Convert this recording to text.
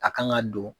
A kan ka don